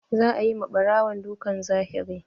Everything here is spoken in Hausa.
Za a yi ma ɓarawon dukan zahiri.